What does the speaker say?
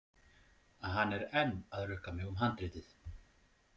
Hann er enn að rukka mig um handritið.